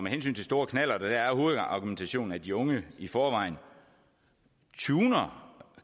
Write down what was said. hensyn til store knallerter er hovedargumentationen at de unge i forvejen tuner